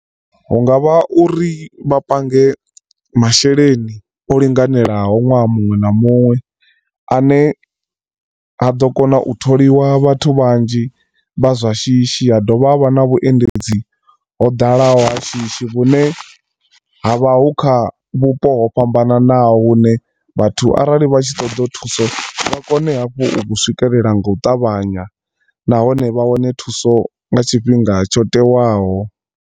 Hungavha uri vha pange masheleni o linganelaho ṅwaha muṅwe na muṅwe ane ha ḓo kona u tholiwa vhathu vhanzhi vha zwa shishi ha dovha ha vha na vhuendedzi ho ḓalaho ha shishi, vhune ha vha hu kha vhupo ho fhambananaho hune vhathu arali vha tshi ṱoḓa thuso vha kone hafhu u vhu swikelela nga u ṱavhanya nahone vha wane thuso nga tshifhinga tsho tewaho.